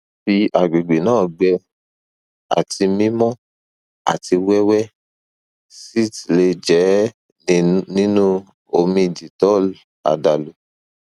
fi agbegbe naa gbẹ ati mimọ ati wẹwẹ sitz le jẹ ninu omi dettol adalu